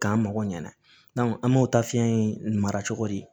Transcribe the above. K'an mago ɲana an m'o ta fiɲɛ in mara cogo di